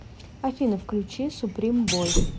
афина включи суприм бой